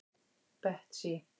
Betsý